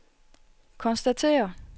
konstaterer